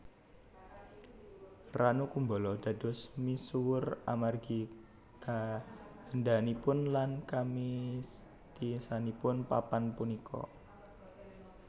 Ranu Kumbolo dados misuwur amargi kaèndahanipun lan kamistisanipun papan punika